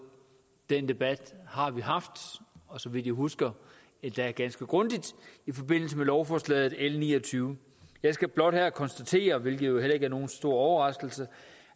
den debat har vi haft og så vidt jeg husker endda ganske grundigt i forbindelse med lovforslaget l niogtyvende jeg skal blot her konstatere hvilket jo heller ikke er nogen stor overraskelse